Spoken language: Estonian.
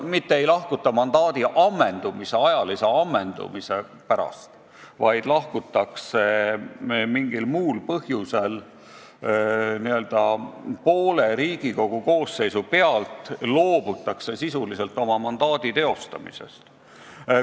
Mitte ei lahkuta mandaadi ajalise ammendumise pärast, vaid lahkutakse mingil muul põhjusel n-ö poole Riigikogu koosseisu pealt, loobutakse sisuliselt oma mandaati teostamast.